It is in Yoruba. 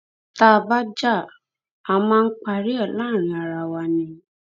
tá a bá já a máa ń parí ẹ láàrin ara wa náà ni